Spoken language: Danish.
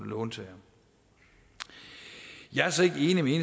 låntagere jeg er så ikke enig